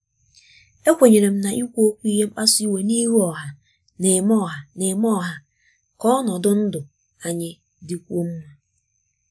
ekwenyere m na ikwu okwu ihe mkpasu iwe n'ihu ọha na-eme ọha na-eme ka ọnọdụ ndụ anyị dịkwuo mma.